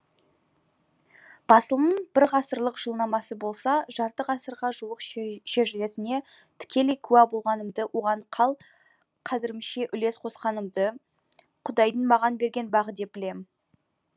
басылымның бір ғасырлық жылнамасы болса жарты ғасырға жуық шежіресіне тікелей куә болғанымды оған қал қадірімше үлес қосқанымды құдайдың маған берген бағы деп білемін